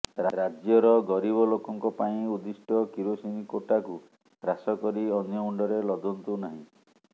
ରାଜ୍ୟର ଗରିବ ଲୋକଙ୍କ ପାଇଁ ଉଦ୍ଦିଷ୍ଟ କିରୋସିନ କୋଟାକୁ ହ୍ରାସ କରି ଅନ୍ୟ ମୁଣ୍ଡରେ ଦୋଷ ଲଦନ୍ତୁ ନାହିଁ